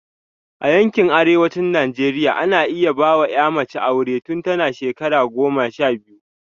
A yankin arewacin Najeriya, ana iya ba wa ‘ya mace aure tun tana da shekara goma sha biyu.